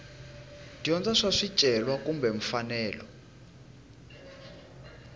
dyondza swa swicelwa kumbe mfanelo